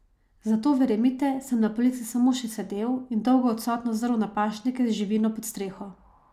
Zato, verjemite, sem na polici samo še sedel in dolgo odsotno zrl na pašnike z živino pod steno.